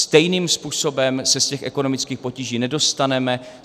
Stejným způsobem se z těch ekonomických potíží nedostaneme.